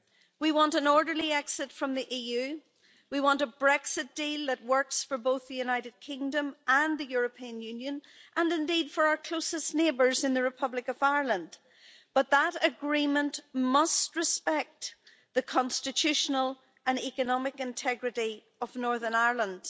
We want an orderly exit from the EU and a Brexit deal that works for both the United Kingdom and the European Union, and indeed for our closest neighbours in the Republic of Ireland, but that agreement must respect the constitutional and economic integrity of Northern Ireland.